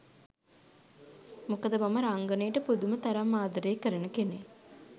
මොකද මම රංගනයට පුදුම තරම් ආදරේ කරන කෙනෙක්.